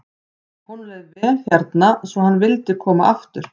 Honum leið vel hérna svo hann vildi koma aftur.